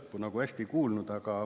Lõppu küll hästi ei kuulnud.